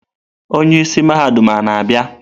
Onye isi mahadum a na-abịa?